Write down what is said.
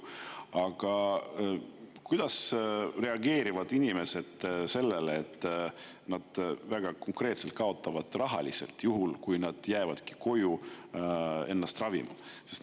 Aga kuidas reageerivad inimesed sellele, et nad rahaliselt väga konkreetselt kaotavad juhul, kui nad jäävad koju ennast ravima?